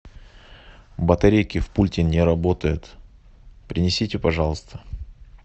батарейки в пульте не работают принесите пожалуйста